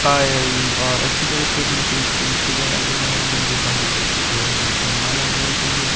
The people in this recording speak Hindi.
पायल और अच्छी तरह से अपने फेस को भी सजाया गया है लंबे बालों को अच्छी तरह से उसमें माला लगाई गई है।